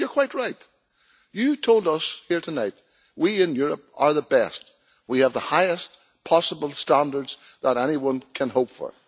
And you are quite right you told us here tonight that we in Europe are the best, we have the highest possible standards that anyone can hope for.